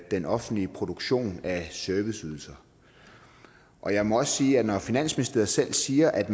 den offentlige produktion af serviceydelser og jeg må også sige at når finansministeriet selv siger at